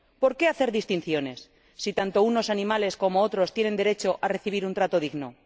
¿Por qué hacer distinciones si tanto unos animales como otros tienen derecho a recibir un trato digno?